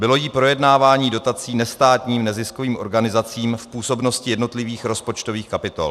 Bylo jí projednávání dotací nestátním neziskovým organizacím v působnosti jednotlivých rozpočtových kapitol.